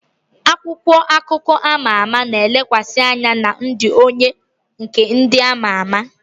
Akwụkwọ akụkọ ama ama na-elekwasị anya na ndụ onwe onye nke ndị ama ama